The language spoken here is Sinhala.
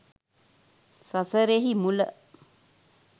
සසරෙහි මුල